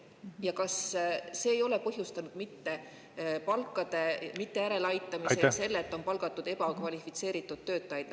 Ja kas see palkade mitte järeleaitamine ei ole põhjustanud seda, et on palgatud mittekvalifitseeritud töötajaid?